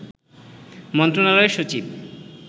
মন্ত্রণালয়ের সচিব